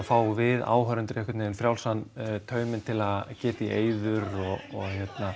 fáum við áhorfendur frjálsan tauminn til að geta í eyður og